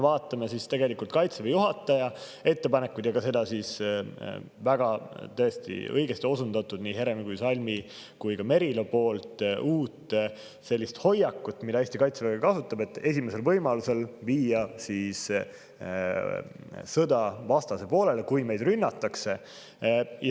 Vaatame Kaitseväe juhataja ettepanekuid ja täiesti õigesti nii Heremi kui ka Salmi ja Merilo poolt osundatud hoiakut, mida Eesti Kaitsevägi kasutab, et esimesel võimalusel viia sõda vastase poolele, kui meid rünnatakse.